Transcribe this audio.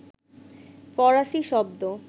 ফরাসি শব্দ